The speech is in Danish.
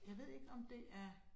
Jeg ved ikke, om det er